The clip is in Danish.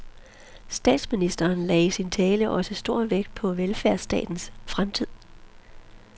Statsministeren lagde i sin tale også stor vægt på velfærdsstatens fremtid.